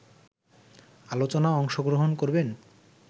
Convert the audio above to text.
আলোচনা অংশগ্রহণ করবেন